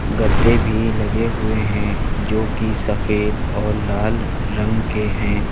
गद्दे भी लगे हुए हैं जो की सफेद और लाल रंग के हैं।